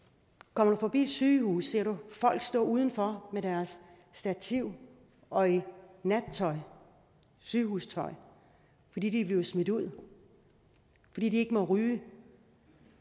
kommer du forbi et sygehus ser du folk stå udenfor med deres stativ og i nattøj i sygehustøj fordi de er blevet smidt ud fordi de ikke må ryge